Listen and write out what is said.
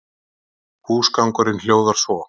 Húsgangurinn hljóðar svo